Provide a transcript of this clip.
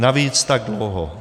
Navíc tak dlouho.